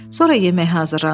Sonra yemək hazırlandı.